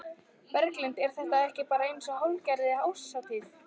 Berghildur: Er þetta ekki bara eins og hálfgerð árshátíð?